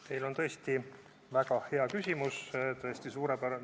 Teil on väga hea küsimus, tõesti suurepärane.